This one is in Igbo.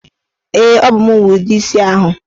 Ee, ọ bụ mụ nwe ude isi ahụ.